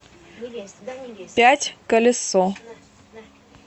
пятьколесо